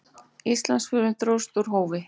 Íslandsförin dróst úr hófi.